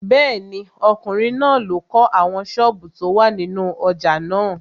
Bẹ́ẹ̀ni, ọkùnrin náà ló kọ́ àwọn sọ́ọ̀bù tó wà nínú ojà náà.